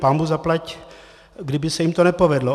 Pánbůh zaplať, kdyby se jim to nepovedlo.